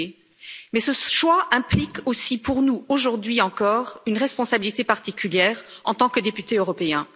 Mukwege, mais ce choix implique aussi pour nous, aujourd'hui encore, une responsabilité particulière en tant que député européen.